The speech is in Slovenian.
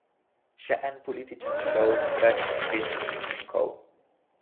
Še en političen šov brez konkretnih učinkov?